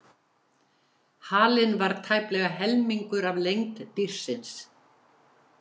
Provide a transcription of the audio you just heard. Halinn var tæplega helmingur af lengd dýrsins.